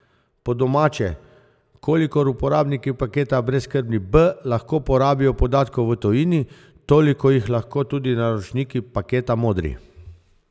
Po domače, kolikor uporabniki paketa Brezskrbni B lahko porabijo podatkov v tujini, toliko jih lahko tudi naročniki paketa Modri.